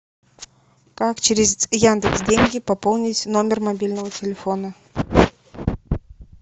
как через яндекс деньги пополнить номер мобильного телефона